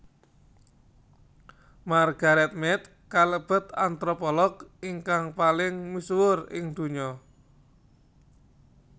Margaret Mead kalebet antropolog ingkang paling misuwur ing donya